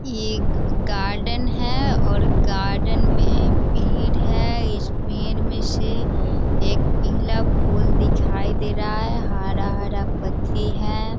ये गार्डन है और गार्डन में पेड़ है इस पेड़ मे से एक पीला फूल दिखाई दे रहा है हरा-हरा पत्ती हैं।